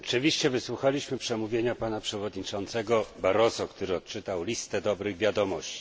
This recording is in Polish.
Oczywiście wysłuchaliśmy przemówienia przewodniczącego Barroso, który odczytał listę dobrych wiadomości.